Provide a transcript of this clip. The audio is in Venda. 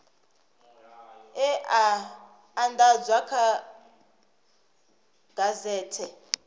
e a andadzwa kha gazethe